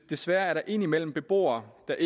desværre er der indimellem beboere der